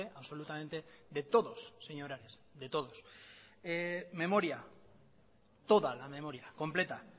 absolutamente de todos señor ares de todos memoria toda la memoria completa